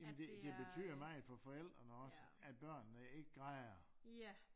Ja men det det betyder meget for forældrene også at børnene ikke græder